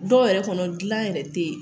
Dɔw yɛrɛ kɔnɔ gilan yɛrɛ te yen.